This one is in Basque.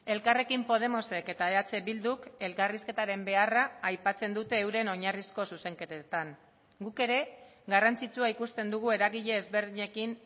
elkarrekin podemosek eta eh bilduk elkarrizketaren beharra aipatzen dute euren oinarrizko zuzenketetan guk ere garrantzitsua ikusten dugu eragile ezberdinekin